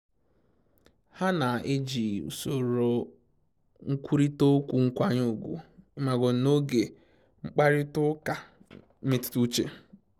Ha na eji usoro nkwurịta okwu nkwanye ugwu n'oge mkparịta ụka mmetụta uche